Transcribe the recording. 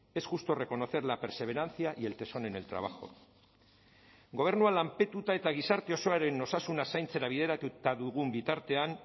es justo reconocer la perseverancia y el tesón en el trabajo gobernua lanpetuta eta gizarte osoaren osasuna zaintzera bideratuta dugun bitartean